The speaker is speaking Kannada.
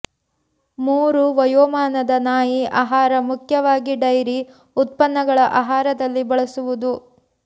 ಮೂರು ವಯೋಮಾನದ ನಾಯಿ ಆಹಾರ ಮುಖ್ಯವಾಗಿ ಡೈರಿ ಉತ್ಪನ್ನಗಳ ಆಹಾರದಲ್ಲಿ ಬಳಸುವುದು